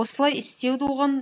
осылай істеуді оған